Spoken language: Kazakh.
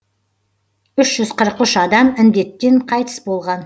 үш жүз қырық үш адам індеттен қайтыс болған